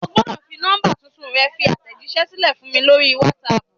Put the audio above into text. Ogbodò fi nọ́mbà tuntun rẹ fi àtẹ̀jísẹ́ sílẹ̀ fún mi lórí Wásaàpù